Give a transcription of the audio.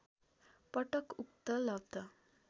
पटक उक्त लब्ध